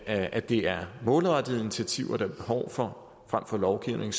at det er målrettede initiativer der er behov for frem for lovgivning